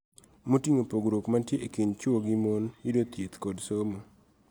Moting'o pogruok mantie e kind chwo gi mon, yudo thieth kod somo,